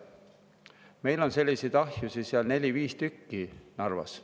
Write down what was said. Meil on selliseid ahjusid neli-viis tükki Narvas.